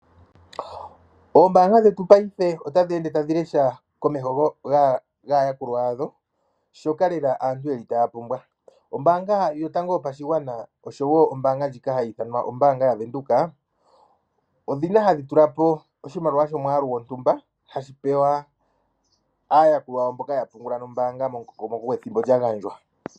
Oombaanga dhetu paife otadhi ende tadhi lesha komeho gaayakulwa yadho, shoka lela aantu ye li taya pumbwa. Ombaanga yotango yopashigwana, osho wo ombaanga ndjika hayi ithanwa ombaanga yaVenduka, odhi li hadhi tula po oshimaliwa shomwaalu gontumba, hashi pewa aayakulwa mboka ya pungula nombaanga momukokomoko gwethimbo lya gandjwa.